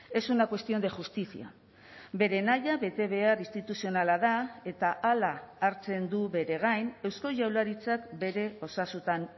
es una cuestión de justicia bere nahia betebehar instituzionala da eta hala hartzen du bere gain eusko jaurlaritzak bere osasutan